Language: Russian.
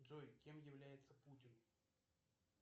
джой кем является путин